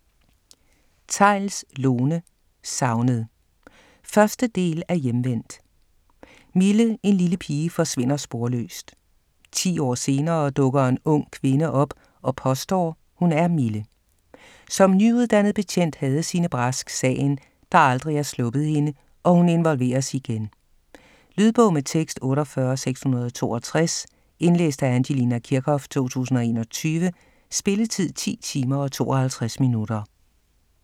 Theils, Lone: Savnet 1. del af Hjemvendt. Mille, en lille pige, forsvinder sporløst. 10 år senere dukker en ung kvinde op og påstår, hun er Mille. Som nyuddannet betjent havde Signe Brask sagen, der aldrig har sluppet hende, og hun involveres igen. Lydbog med tekst 48662 Indlæst af Angelina Kirchhoff, 2021. Spilletid: 10 timer, 52 minutter.